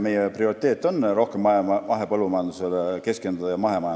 Meie prioriteet on rohkem mahepõllumajandusele ja üldse mahemajandusele keskenduda.